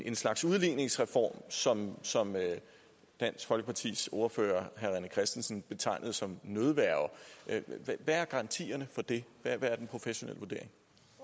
en slags udligningsreform som som dansk folkepartis ordfører herre rené christensen betegnede som nødværge hvad er garantien for det hvad er den professionelle vurdering